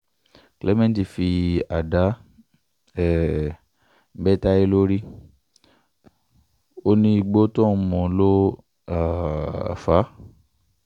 clement fi àdá um bẹ́ tayé lórí ó ní igbó tóun mú ló um fà á